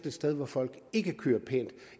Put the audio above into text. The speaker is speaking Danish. et sted hvor folk ikke kører pænt